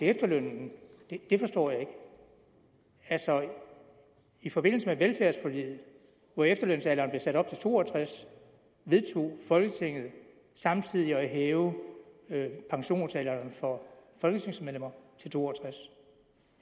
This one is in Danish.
efterlønnen forstår jeg ikke altså i forbindelse med velfærdsforliget hvor efterlønsalderen blev sat op til to og tres år vedtog folketinget samtidig at hæve pensionsalderen for folketingsmedlemmer til to og tres